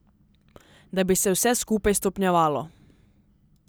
Da bi se vse skupaj stopnjevalo.